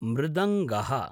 मृदङ्गः